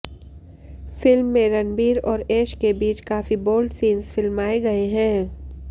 film में रणबीर और ऐश के बीच काफी बोल्ड सीन्स फिल्माए गए हैं